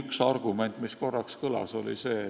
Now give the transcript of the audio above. Üks argument, mis korraks kõlas, oli see,